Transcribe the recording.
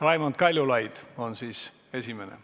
Raimond Kaljulaid on esimene.